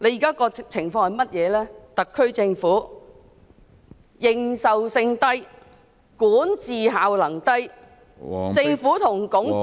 就是特區政府認受性低、管治效能低、政府和......